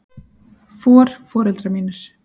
For. foreldrar mínir.